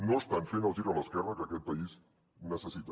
no estan fent el gir a l’esquerra que aquest país necessita